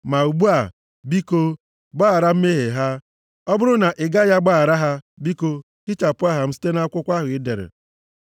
Ma ugbu a, biko, gbaghara mmehie ha. Ọ bụrụ na ị gaghị agbaghara ha, biko hichapụ aha m site nʼakwụkwọ ahụ i dere.”